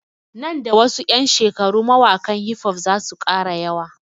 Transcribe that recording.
Nan da wasu ƴan shekaru mawaƙan hifof zasu ƙara yawa